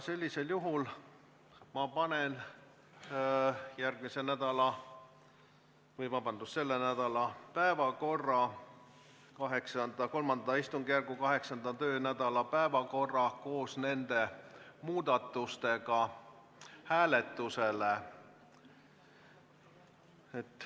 Sellisel juhul ma panen selle nädala päevakorra, III istungjärgu 8. töönädala päevakorra koos nende muudatustega hääletusele.